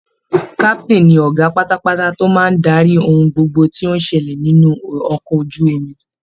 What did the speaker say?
Captain ni ọgá pátápátá to máa daríi ohun gbogbo tó ń ṣẹlẹ̀ nínú ọkọ̀ ojú omi